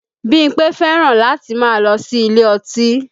Bímpé fẹ́ràn láti máa lọ sí ilé ọtí